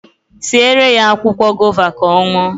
Siere ya akwụkwọ gova ka ọ ṅụọ